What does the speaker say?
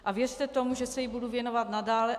A věřte tomu, že se jí budu věnovat nadále.